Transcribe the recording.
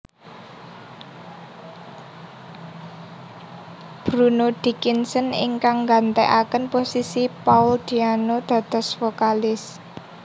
Bruno Dickinson ingkang gantekaken posisi Paul Diano dados vokalis